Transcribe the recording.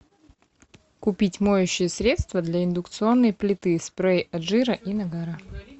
купить моющее средство для индукционной плиты спрей от жира и нагара